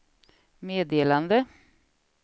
meddelande